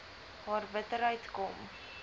haar bitterheid kom